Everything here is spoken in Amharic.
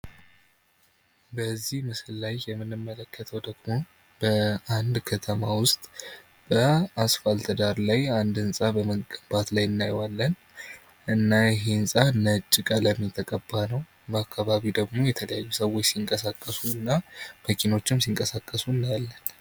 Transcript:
በዚህ ምስል ላይ የምንመለከተው ደግሞ በአንድ ከተማ ዉስጥ በአስፋልት ዳር ላይ አንድ ህንፃ በመገንባት ላይ እናየዋለን እና ይህ ህንፃ ነጭ ቀለም የተቀባ ነው በአካባቢው ደግሞ የተለያዩ ሰዎች እየተንቀሳቀሱ እና መኪኖችም ሲንቀሳቀሱ እናያለን።